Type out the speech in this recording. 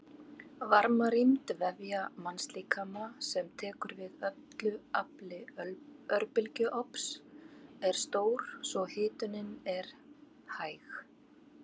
Varmarýmd vefja mannslíkama sem tekur við öllu afli örbylgjuofns er stór svo hitunin er hæg.